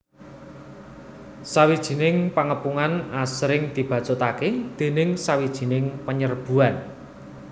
Sawijining pangepungan asring dibacutaké déning sawijining panyerbuan